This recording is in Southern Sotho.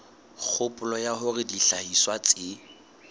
kgopolo ya hore dihlahiswa tse